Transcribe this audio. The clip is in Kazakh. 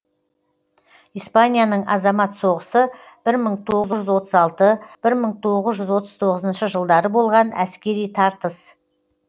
испанияның азамат соғысы бір мың тоғыз жүз отыз алты бір мың тоғыз жүз отыз тоғызыншы жылдары болған әскери тартыс